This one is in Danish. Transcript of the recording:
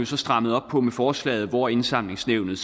så strammet op på med forslaget hvor indsamlingsnævnet